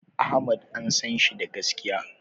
Ahmad an sanshi da gaskiya